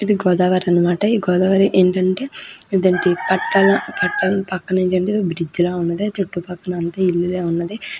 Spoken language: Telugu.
ఇది గోదావరి అనమాట ఈ గోదావరి ఏంటంటే దానికి పక్కన బ్రిడ్జలా ఉన్నది చుట్టుపక్కన అంతా ఇల్లులే ఉన్నది.